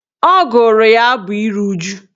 Ọ gụrụ ya abụ ịru uju